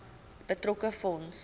betrokke fonds